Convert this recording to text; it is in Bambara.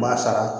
Ma sara